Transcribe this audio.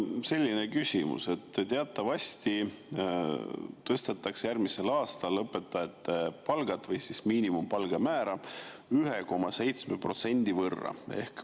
Mul on selline küsimus, et teatavasti tõstetakse järgmisel aastal õpetajate palku või miinimumpalga määra 1,7% võrra.